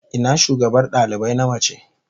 Ina shugabar dalibai na mace?